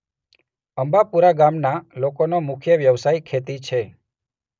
અંબાપુરા ગામના લોકોનો મુખ્ય વ્યવસાય ખેતી છે.